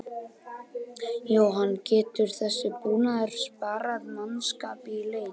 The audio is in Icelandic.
Jóhann: Getur þessi búnaður sparað mannskap í leit?